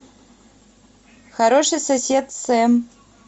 хороший сосед сэм